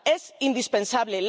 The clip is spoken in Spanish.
Es indispensable.